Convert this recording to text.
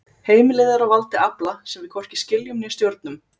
Heimilið er á valdi afla sem við hvorki skiljum né stjórnum.